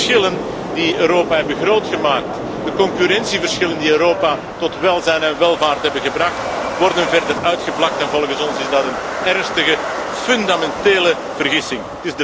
De verschillen die Europa hebben groot gemaakt, de concurrentieverschillen die Europa tot welzijn en welvaart hebben gebracht, worden verder uitgevlakt en volgens ons is dat een ernstige, fundamentele vergissing.